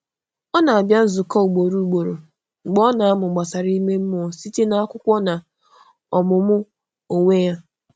Ọ na-abịa nzukọ ugboro ugboro, mgbe ọ na-amụ gbasàra ime mmụọ site n’akwụkwọ na ọmụmụ onwe ya.